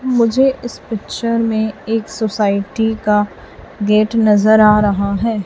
मुझे इस पिक्चर में एक सोसाइटी का गेट नजर आ रहा है।